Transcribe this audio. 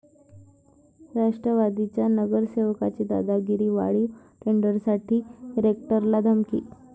राष्ट्रवादीच्या नगरसेवकाची दादागिरी, वाढीव टेंडरसाठी रेक्टरला धमकी!